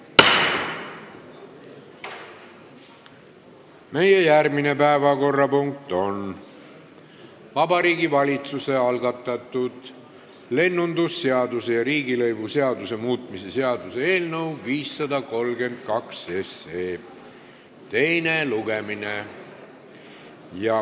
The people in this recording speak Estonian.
Meie järgmine päevakorrapunkt on Vabariigi Valitsuse algatatud lennundusseaduse ja riigilõivuseaduse muutmise seaduse eelnõu 532 teine lugemine.